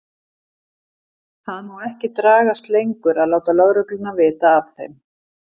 Það má ekki dragast lengur að láta lögregluna vita af þeim.